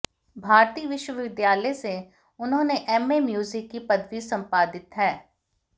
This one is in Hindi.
भारती विश्वविद्यालय से उन्होने एमए म्युजिक की पदवी संपादित है